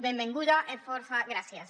benvenguda e fòrça gràcies